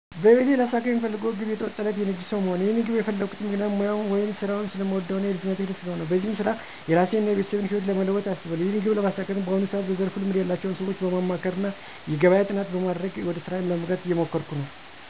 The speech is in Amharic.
በህይወቴ ላሳካው ምፈልገው ግብ የተዋጣለት የንግድ ሠው መሆን ነው። ይህንን ግብ የፈላኩበት ምክንያት ሙያውን ወይም ስራውን ስለምወደው እና የልጅነቴ ህልም ስለሆነ ነው። በዚህም ስራ የራሴን እና የቤተሰቤን ህይወት ለመለወጥ አስባለሁ። ይህንን ግብ ለማሳካትም በአሁኑ ሰዓት በዘርፉ ልምድ ያላቸው ሰዎችን በማማከር እና የገበያ ጥናት በማድረግ ወደ ስራ ለመግባት እየሞከርኩ ነው።